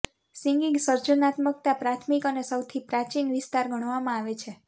singing સર્જનાત્મકતા પ્રાથમિક અને સૌથી પ્રાચીન વિસ્તાર ગણવામાં આવે છે